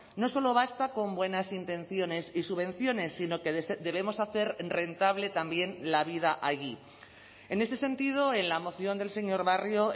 no solo basta con buenas intenciones y subvenciones sino que debemos hacer rentable también la vida allí en ese sentido en la moción del señor barrio